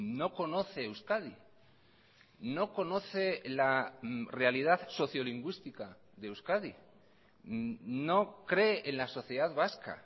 no conoce euskadi no conoce la realidad sociolingüística de euskadi no cree en la sociedad vasca